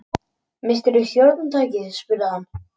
Misstir þú stjórntækið spurði hann.